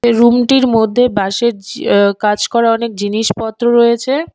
এ room টির মধ্যে বাঁশের জি আঃ কাজ করা অনেক জিনিস পত্র রয়েছে।